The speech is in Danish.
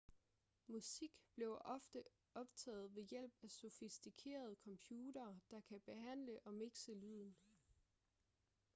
musik bliver ofte optaget ved hjælp af sofistikerede computere der kan behandle og mixe lyden